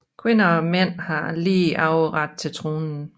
Kvinder og mænd har lige arveret til tronen